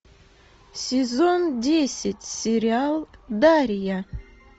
сезон десять сериал дарья